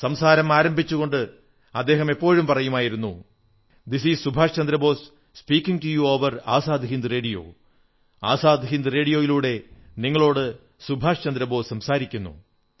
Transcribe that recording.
സംസാരം ആരംഭിച്ചുകൊണ്ട് അദ്ദേഹം എപ്പോഴും പറയുമായിരുന്നു this is Subhash Chandra Bose speaking to you over the Azad Hind radio Azad Hind റേഡിയോയിലൂടെ നിങ്ങളോട് സുഭാഷ് ചന്ദ്ര ബോസ് സംസാരിക്കുന്നു